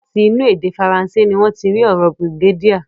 Láti inú èdè Fransé ni wọ́n ti rí ọ̀rọ̀ brigadier.